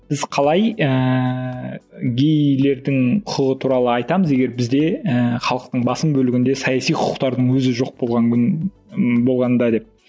біз қалай ыыы гейлердің құқығы туралы айтамыз егер бізде ііі халықтың басым бөлігінде саяси құқықтардың өзі жоқ болған күн ы болғанда деп